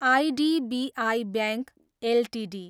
IDBI bank Ltd